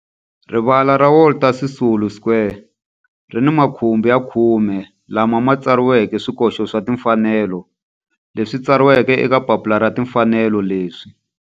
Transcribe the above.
Rivala ra Walter Sisulu Square ri ni makhumbi ya khume lawa ma tsariweke swikoxo swa timfanelo leswi tsariweke eka papila ra timfanelo leswi.